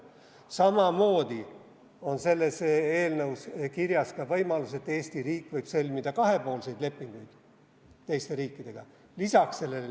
Samamoodi on selles eelnõus kirjas ka võimalus, et Eesti riik võib sõlmida lisaks sellele nimekirjale kahepoolseid lepinguid teiste riikidega.